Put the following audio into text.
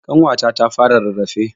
Ƙanwata ta fara rarrafe.